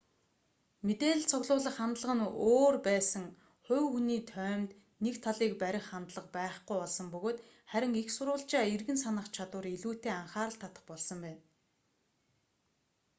мэдээлэл цуглуулах хандлага нь өөр байсан хувь хүний тоймд нэг талийг барих хандлага байхгүй болсон бөгөөд харин эх сурвалжаа эргэн санах чадвар илүүтэй анхаарал татах болсон байна